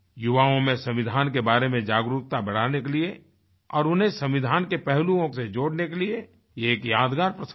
युवाओं में संविधान के बारे में जागरूकता बढ़ाने के लिए और उन्हें संविधान के पहलुओं से जोड़ने के लिए ये एक यादगार प्रसंग था